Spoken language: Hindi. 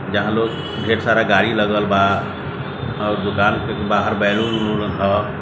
यहाँ लोग ढेर सारा गाड़ी लगल बा और दुकान के बहार बैलून वलून रखल बा।